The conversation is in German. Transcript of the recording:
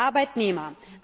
für Arbeitnehmer.